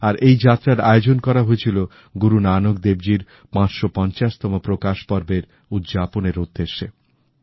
আর এই যাত্রার আয়োজন করা হয়েছিল গুরু নানক দেবজীর ৫৫0 তম প্রকাশ পর্বের উদযাপনের উদ্দেশ্যে